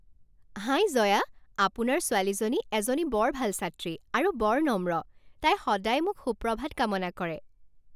হাই জয়া, আপোনাৰ ছোৱালীজনী এজনী বৰ ভাল ছাত্ৰী আৰু বৰ নম্ৰ। তাই সদায় মোক সুপ্ৰভাত কামনা কৰে।